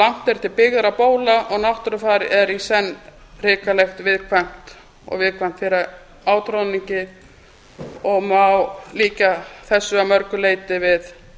langt er til byggðra bóla og náttúrufar er í senn hrikalegt og viðkvæmt fyrir átroðningi og má líkja þessu að mörgu leyti við